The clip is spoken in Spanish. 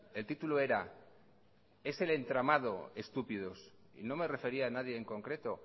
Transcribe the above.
el título era es el entramado estúpidos y no me refería a nadie en concreto